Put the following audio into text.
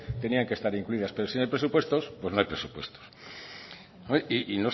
tenían que estar incluidas pero si no hay presupuestos pues no hay presupuestos